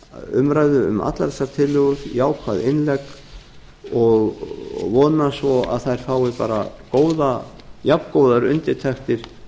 umræðu um allar þessar tillögur jákvæð innlegg og vona svo að þær fái bara jafngóðar undirtektir